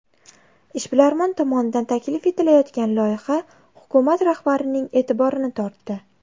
Ishbilarmon tomonidan taklif etilayotgan loyiha hukumat rahbarining e’tiborini tortdi.